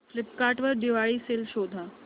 Flipkart वर Diwali sale शोधा